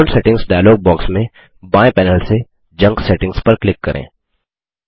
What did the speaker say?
account settings dialog box में बाएँ panel से जंक सेटिंग्स पर क्लिक करें